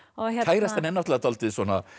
kærastan er dálítið